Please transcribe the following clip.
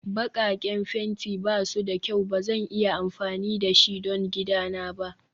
Bakaken fenti ba su da kyau Ba zan iya amfani da shi don gidana ba